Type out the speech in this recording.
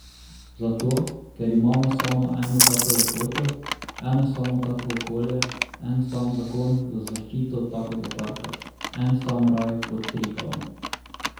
Zato, ker imamo samo eno tako lepoto, eno samo tako okolje, en sam zakon za zaščito takega parka, en sam raj pod Triglavom.